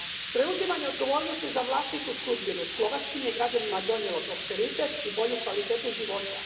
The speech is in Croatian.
Preuzimanje odgovornosti za vlastitu sudbinu slovačkim je građanima donijelo prosperitet i bolju kvalitetu života.